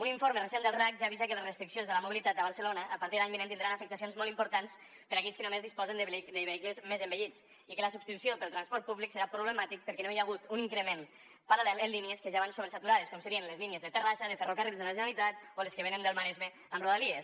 un informe recent del racc ja avisa que les restriccions de la mobilitat a barcelona a partit de l’any vinent tindran afectacions molt importants per a aquells que només disposen de vehicles més envellits i que la substitució pel transport públic serà problemàtica perquè no hi ha hagut un increment paral·lel en línies que ja van sobresaturades com serien les línies de terrassa de ferrocarrils de la generalitat o les que venen del maresme amb rodalies